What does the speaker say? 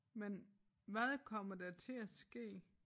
Men hvad kommer der til at ske?